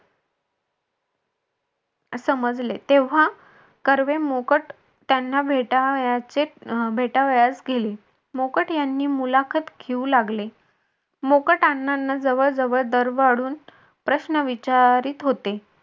समजले तेव्हा कर्वे मोकट त्यांना भेटावयास अं भेटावयास गेले मोकट यांनी मुलाखत घेऊ लागले मोकट अण्णांना जवळजवळ प्रश्न विचारीत होते.